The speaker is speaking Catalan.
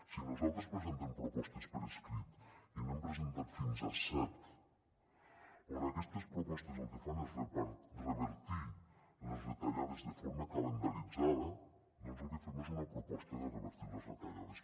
si nosaltres presentem propostes per escrit i n’hem presentat fins a set i aquestes propostes el que fan és revertir les retallades de forma calendaritzada doncs el que fem és una proposta de revertir les retallades